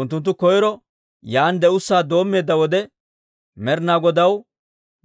Unttunttu koyro yaan de'ussaa doommeedda wode, Med'ina Godaw